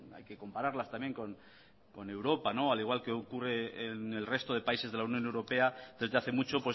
hay que compararlas también con europa al igual que ocurre en el resto de países de la unión europea desde hace mucho